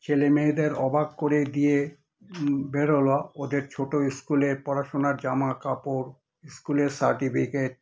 ছেলে-মেয়েদের অবাক করে দিয়ে হুমম বেরোলো ওদের ছোট school এর পড়াশুনার জামা-কাপড়, school এর certificate